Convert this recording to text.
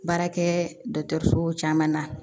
Baarakɛ dɔgɔtɔrɔsow caman na